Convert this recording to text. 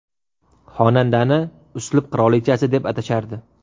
Xonandani uslub qirolichasi deb atashardi.